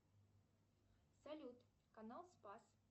салют канал спас